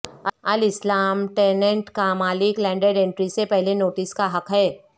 الاسلام ٹیننٹ کا مالک لینڈڈ انٹری سے پہلے نوٹس کا حق ہے